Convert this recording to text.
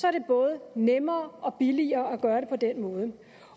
er det både nemmere og billigere at gøre det på den måde